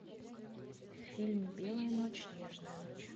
фильм белая ночь нежная ночь